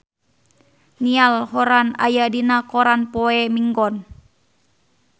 Niall Horran aya dina koran poe Minggon